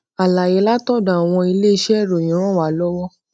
àlàyé látòdò àwọn iléiṣé ìròyìn ràn wá lówó